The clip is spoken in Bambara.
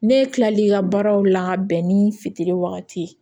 Ne kila l'i ka baaraw la ka bɛn ni fitiri wagati ye